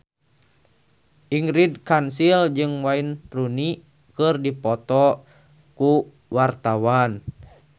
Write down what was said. Ingrid Kansil jeung Wayne Rooney keur dipoto ku wartawan